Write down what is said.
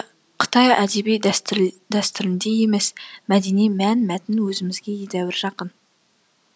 қытай әдеби дәстүріндей емес мәдени мәнмәтін өзімізге едәуір жақын